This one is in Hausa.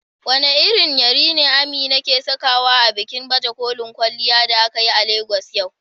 Wane irin yari ne Amina ke sakawa a bikin baje kolin kwalliya da aka yi a Legas yau?